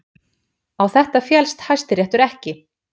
Á þetta féllst Hæstiréttur ekki